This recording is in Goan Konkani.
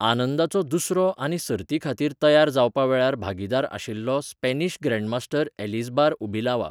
आनंदाचो दुसरो आनी सर्तीखातीर तयार जावपा वेळार भागीदार आशिल्लो स्पॅनिश ग्रॅण्डमास्टर एलिझबार उबिलावा.